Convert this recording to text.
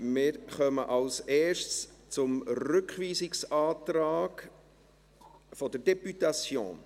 Wir kommen als Erstes zum Rückweisungsantrag der Députation.